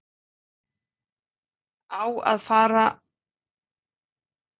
Á það að fara á barinn?